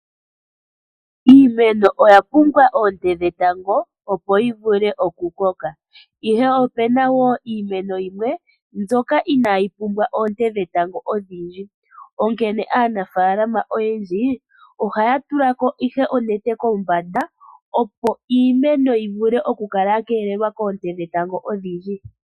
Iimeno oya pumbwa oonte dhetango opo yi vule oku koka, ihe opuna woo iimeno yimwe mbyoka inaayi pumbwa oonte dhetango odhindji, onkene aanafaalama oyendji ohaya tula ko ihe onete kombanda opo iimeno yi vule oku kala yakeelelwa koonte dhetango odhindji.